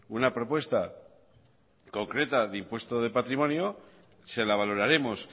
una propuesta concreta de impuesto de patrimonio se la valoraremos